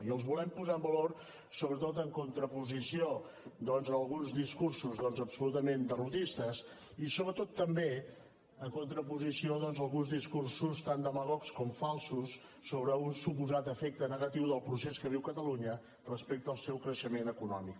i els volem posar en valor sobretot en contraposició doncs a alguns discursos absolutament derrotistes i sobretot també en contraposició a alguns discursos tan demagogs com falsos sobre un suposat efecte negatiu del procés que viu catalunya respecte al seu creixement econòmic